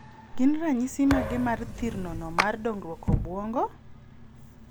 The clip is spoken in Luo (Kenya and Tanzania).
Gin ranyisi mage mar thirno no mar dongruok obuongo.?